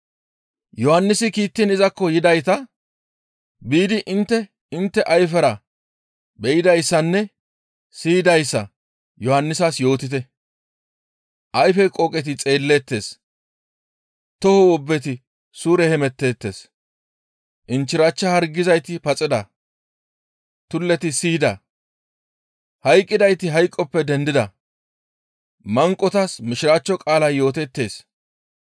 Yohannisi kiittiin izakko yidayta, «Biidi intte intte ayfera be7idayssanne siyidayssa Yohannisas yootite. Ayfe qooqeti xeelleettes; toho wobbeti suure hemetteettes; inchchirachcha hargizayti paxida; tulleti siyida; hayqqidayti hayqoppe dendida; manqotas Mishiraachcho qaalay yootettees.